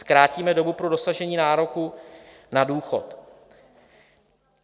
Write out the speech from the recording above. "Zkrátíme dobu pro dosažení nároku na důchod..."